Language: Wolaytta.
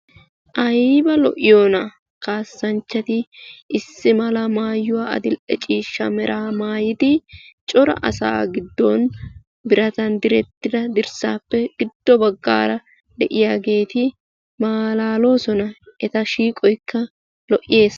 Ayba lo'iyoonaa kaassanchchati! Issi mala maayuwa adill'e ciishshaa meraa maayidi cora asaa giddon biratan direttida dirssaa giddo baggaara de'iyageeti malaaloosona. Eta shiiqoykka lo'es.